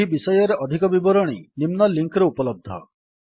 ଏହି ବିଷୟରେ ଅଧିକ ବିବରଣୀ ନିମ୍ନ ଲିଙ୍କ୍ ରେ ଉପଲବ୍ଧ